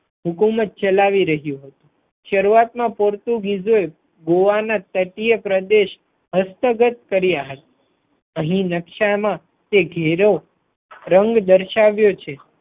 હુકુમત ચલાવી રહ્યું હતું. શરૂઆત મા પોર્ટુગીજોએ ગોવા ના તટીય પ્રદેશ હસ્તગત કર્યા હતા અહી નકશા મા તે ઘેરો રંગ દર્શાવ્યો છે.